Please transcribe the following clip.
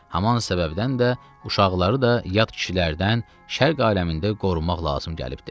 Haman səbəbdən də uşaqları da yad kişilərdən şərq aləmində qorumaq lazım gəlibdir.